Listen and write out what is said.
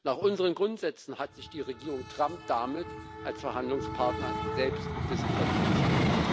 Nach unseren Grundsätzen hat sich die Regierung Trump damit als Verhandlungspartner selbst disqualifiziert.